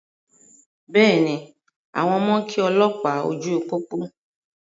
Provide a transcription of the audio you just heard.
Bẹ́ẹ̀ni, àwọn ọmọ kí olópàá ojú pópó.